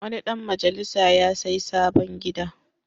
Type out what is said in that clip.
Wani ɗan majalisa ya sayi sabon gida.